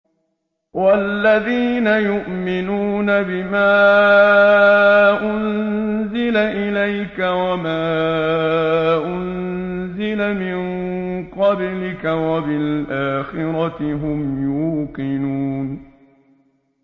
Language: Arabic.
وَالَّذِينَ يُؤْمِنُونَ بِمَا أُنزِلَ إِلَيْكَ وَمَا أُنزِلَ مِن قَبْلِكَ وَبِالْآخِرَةِ هُمْ يُوقِنُونَ